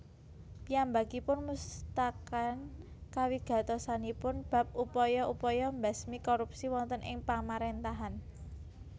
Piyambakipun musataken kawigatosanipun bab upaya upaya mbesmi korupsi wonten ing pamarèntahan